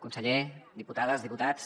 conseller diputades diputats